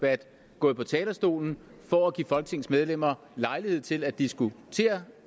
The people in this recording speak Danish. er gået på talerstolen for at give folketingets medlemmer lejlighed til at diskutere